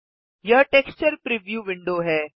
यह texture preview window है